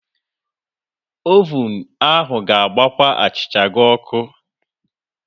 ovun ahụ ga-agbakwa achịcha gị ọkụ.